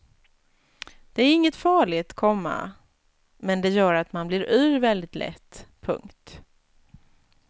Det är inget farligt, komma men det gör att man blir yr väldigt lätt. punkt